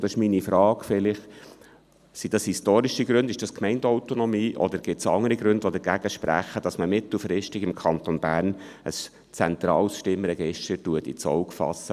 Meine Frage lautet, ob historische Gründe dagegen sprechen, oder die Gemeindeautonomie, oder ob es andere Gründe gibt, die dagegensprechen, dass man mittelfristig im Kanton Bern ein zentrales Stimmregister ins Auge fasst.